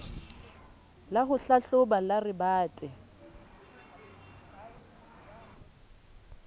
la ho hlahloba la rebate